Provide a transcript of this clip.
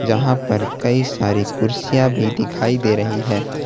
कहां पर कई सारी कुर्सियां भी दिखाई दे रही है।